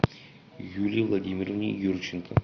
юлии владимировне юрченко